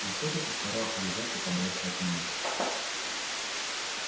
он всё-таки старался держаться подальше от меня